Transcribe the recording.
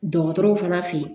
Dɔgɔtɔrɔw fana fe